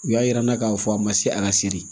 U y'a yira n na k'a fɔ a ma se a ka seli